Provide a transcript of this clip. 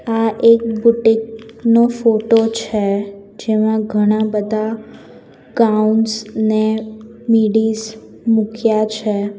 આ એક બુટિક નો ફોટો છે જેમાં ઘણા બધા ગાઉન્સ ને મીડીસ મૂક્યા છે.